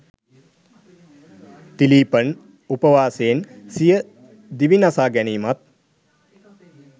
තිලීපන් උපවාසයෙන් සිය දිවි නසා ගැනීමත්